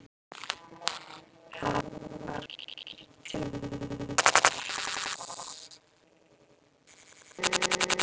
Það var ekki til neins að hrópa.